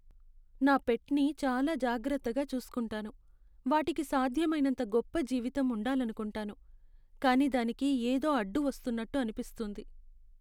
నా పెట్ని చాలా జాగ్రత్తగా చూస్కుంటాను, వాటికి సాధ్యమైనంత గొప్ప జీవితం ఉండాలనుకుంటాను, కానీ దానికి ఏదో అడ్డు వస్తున్నట్టు అనిపిస్తుంది.